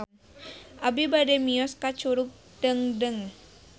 Abi bade mios ka Curug Dengdeng